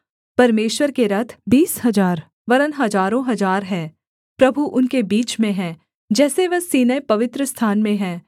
परमेश्वर के रथ बीस हजार वरन् हजारों हजार हैं प्रभु उनके बीच में है जैसे वह सीनै पवित्रस्थान में है